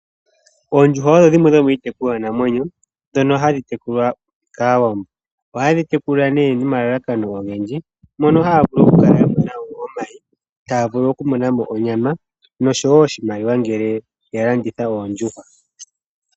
Oondjuhwa odho dhimwe dhomiitekulwa namwenyo, dhono ha dhi tekulwa kaawambo. Oha dhi tekulwa ne nomalalakano ogendji, mono ha ya vulu oku kala ya monamo omayi, ta ya vulu oku monamo onyama no sho wo oshimaliwa ngele ya landitha, oondjuhwa.